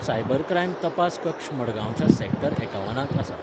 Cybercrime तपास कक्ष गुडगांवच्या सेक्टर एकावनांत आसा.